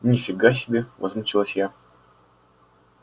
ни фига себе возмутилась я